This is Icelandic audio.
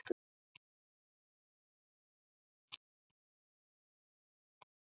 Ég tók stefnuna upp stigann og Sölvi elti.